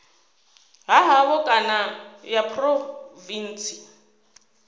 ha havho kana ya phurovintsi